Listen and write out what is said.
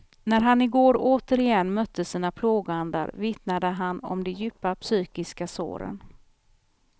När han igår återigen mötte sina plågoandar vittnade han om de djupa psykiska såren.